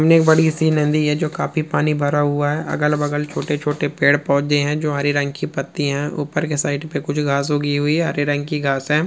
ये बड़ी सी नंदी ये जो काफी पानी भरा हुआ है अगल बगल छोटे छोटे पेड़ पोधे है जो हरे रंग की पत्ती हे ऊपर के साइड पे कुछ घास उगी हुई है हरे रंग की घास है।